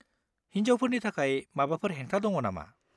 हिन्जावफोरनि थाखाय माबाफोर हेंथा दङ नामा?